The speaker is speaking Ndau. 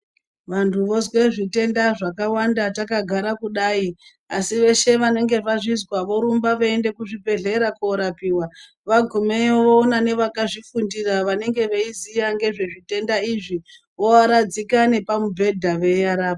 Vantu vozwe zvitenda zvakawanda takagara kudai asi veshe vanenge vorumba veiende kuzvibhehlera korapiwa vagumeyo vona nevakazvifundira vanenge veiziya ngezvezvitenda izvi vovaradzika nepamubhedha veivarapa .